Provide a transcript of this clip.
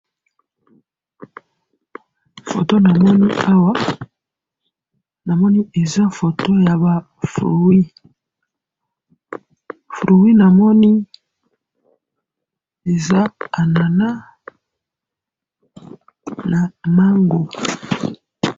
photo namoni awa , namoni eza photo yaba fruits , fruit namoni eza annana na mango